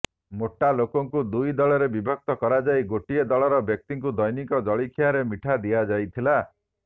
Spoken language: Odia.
ମୋଟା ଲୋକଙ୍କୁ ଦୁଇ ଦଳରେ ବିଭକ୍ତ କରାଯାଇ ଗୋଟିଏ ଦଳର ବ୍ୟକ୍ତିଙ୍କୁ ଦୈନିକ ଜଳଖିଆରେ ମିଠା ଦିଆଯାଇଥିଲା